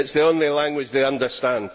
It is the only language they understand.